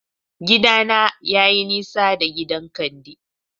Gidana yayi nisa da gidan Kande